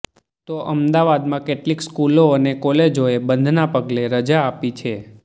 તો અમદાવાદમાં કેટલીક સ્કૂલો અને કોલેજોએ બંધના પગલે રજા આપી છે